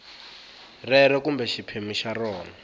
rero kumbe xiphemu xa rona